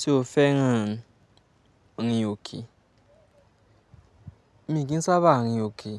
Ṣé o fẹ́ràn rìn òkè? Mí kì ń sábà rìn òkè